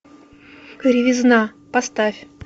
кривизна поставь